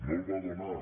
no el va donar